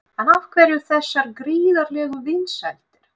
En af hverju þessar gríðarlegu vinsældir?